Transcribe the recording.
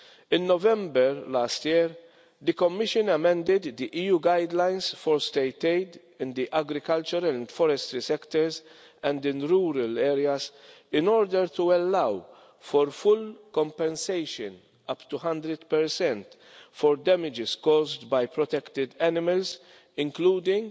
In November last year, the Commission amended the EU guidelines for state aid in the agriculture and forestry sectors and in rural areas, in order to allow for full compensation, up to 100, for damage caused by protected animals, including